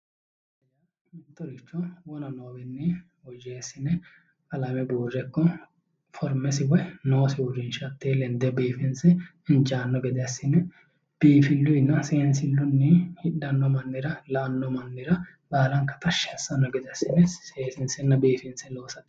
Mittoricho wona noowinnin woyyeesine qalame buure forimesi woyi noosi uurinisha hatee lenide biifinse inijaanosi gede assine biinifilluyinna Seenisilluyi Hidhanno mannira baalanikka tashi assano gede asinne Seesiinisenna biifinise loosate